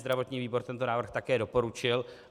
Zdravotní výbor tento návrh také doporučil.